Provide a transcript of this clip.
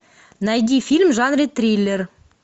найди фильм в жанре триллер